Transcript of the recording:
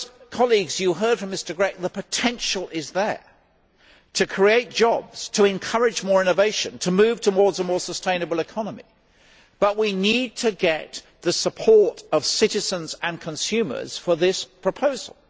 Colleagues, you heard from Mr Grech that the potential is there to create jobs, to encourage more innovation and to move towards a more sustainable economy but we need to get the support of citizens and consumers for this proposal.